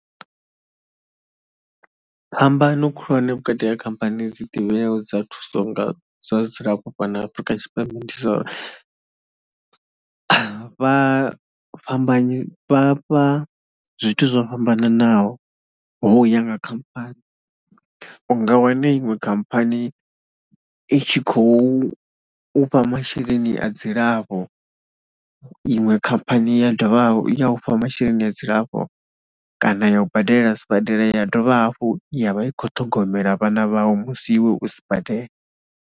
Phambano khulwane vhukati ha khamphani dzi ḓivheaho dza thuso nga dza dzilafho fhano Afrika Tshipembe ndi dza uri, vha fhambanyi vha fha zwithu zwo fhambananaho ho ya nga khamphani. U nga wana iṅwe khamphani i tshi khou u fha masheleni a dzilavho, iṅwe khamphani ya dovha ya u fha masheleni a dzilafho kana ya u badela sibadela ya dovha hafhu ya vha i khou ṱhogomela vhana vhau musi iwe u sibadela.